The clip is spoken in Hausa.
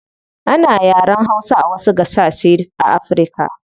Ana yaren hausa a wasu gasashe a africa